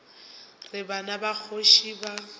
re bana ba kgoši ba